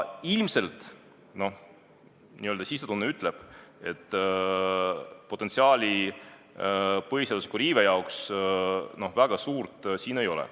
Minu sisetunne ütleb, et põhiseaduse riive potentsiaal siin väga suur ei ole.